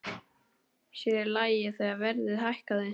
Sér í lagi þegar verðið hækkaði.